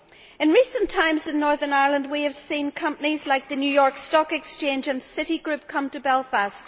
In recent times in Northern Ireland, we have seen companies like the New York Stock Exchange and Citigroup come to Belfast.